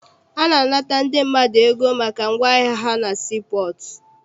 A na-anata ndị mmadụ ego maka ngwaahịa ha na sii pọọtụ.